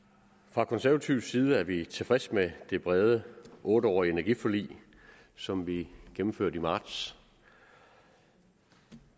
fra konservativ side er vi tilfredse med det brede otte årige energiforlig som vi gennemførte i marts